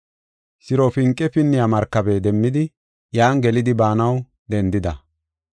Sirofinqe pinniya markabe demmidi iyan gelidi baanaw dendida.